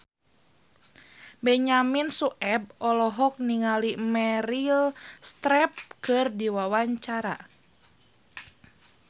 Benyamin Sueb olohok ningali Meryl Streep keur diwawancara